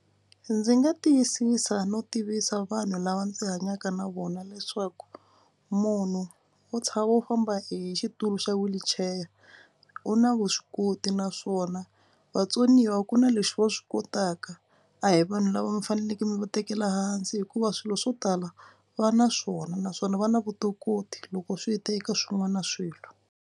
Ndzi nga tiyisisa no tivisa vanhu lava ndzi hanyaka na vona leswaku munhu wo wo famba hi xitulu xa wheelchair u na vuswikoti naswona vatsoniwa ku na leswi va swi kotaka. A hi vanhu lava mi faneleke mi va tekela hansi hikuva swilo swo tala va na swona naswona va na vutokoti loko swi ta eka swin'wana swilo.